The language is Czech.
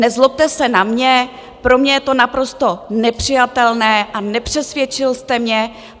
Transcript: Nezlobte se na mě, pro mě je to naprosto nepřijatelné a nepřesvědčil jste mě!